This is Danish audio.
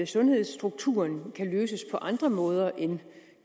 sundhedsstrukturen kan løses på andre måder end ved